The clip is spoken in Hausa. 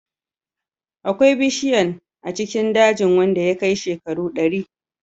Akwai ɓushiyan a cikin dajin wanda ya kai shekaru dari.